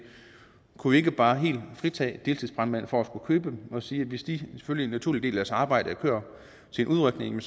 kunne vi ikke bare helt fritage deltidsbrandmænd for at skulle købe dem og sige at hvis de som en naturlig del af deres arbejde kører til en udrykning